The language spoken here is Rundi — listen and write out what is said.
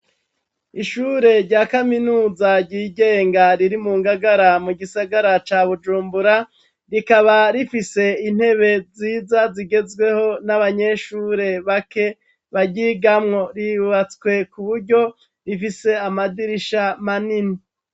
Ishure rya kaminuza ry'igenga riri mu Ngagara mu gisagara ca Bujumbura, rikaba rifise intebe ziza zigezweho n'abanyeshure bake baryigamwo, ribatswe ku buryo rifise amadirisha manini.